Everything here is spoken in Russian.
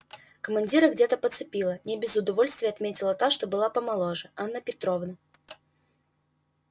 командира где то подцепила не без удовольствия отметила та что была помоложе анна петровна